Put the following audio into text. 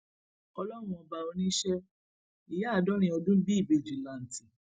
ọlọrun ọba oníṣẹ ìyá àádọrin ọdún bí ìbejì lanti